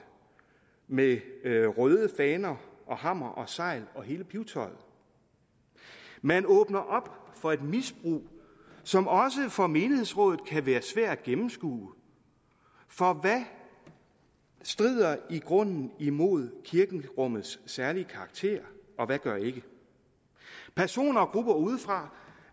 med røde faner og hammer og segl og hele pibetøjet man åbner op for et misbrug som også for menighedsrådet kan være svært at gennemskue for hvad strider i grunden imod kirkerummets særlige karakter og hvad gør ikke personer og grupper udefra